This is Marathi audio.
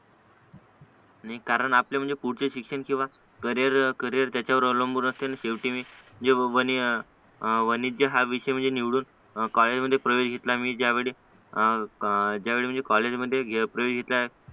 नी कारण आपले म्हणजे पुढचे शिक्षण किंवा करिअर करिअर त्याच्यावर अवलंबून असते नी शेवटी जेव्हा बनेल वाणिज्य हा विषय म्हणजे निवडून कॉलेजमध्ये प्रवेश घेतला मी ज्यावेळी ज्यावेळी म्हणजे कॉलेजमध्ये प्रवेश घेतला